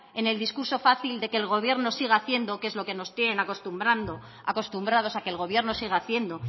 en el discurso fácil de que el gobierno sigan haciendo que es a lo que nos tienen acostumbrados a que el gobierno siga haciendo